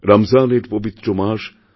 রমজানের পবিত্র মাস